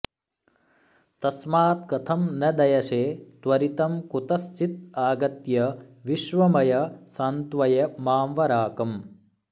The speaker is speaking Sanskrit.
तस्मात्कथं न दयसे त्वरितं कुतश्चित् आगत्य विश्वमय सान्त्वय मां वराकम्